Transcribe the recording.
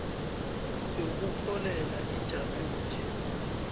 yokurholela ijame bunje